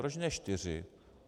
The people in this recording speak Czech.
Proč ne čtyři?